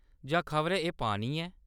जां खबरै एह्‌‌ पानी ऐ ?